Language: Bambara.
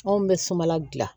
Anw bɛ sumala dilan